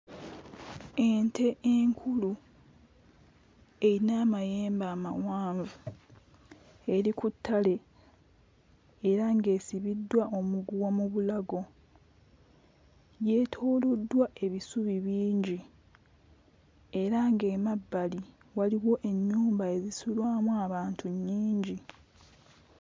Ente enkulu eyina amayembe amawanvu eri ku ttale era ng'esibiddwa omuguwa mu bulago yeetooloddwa ebisubi bingi era ng'emabbali waliwo ennyumba ezisulwamu abantu nnyingi.